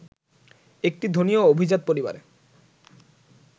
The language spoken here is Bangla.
একটি ধনী ও অভিজাত পরিবারে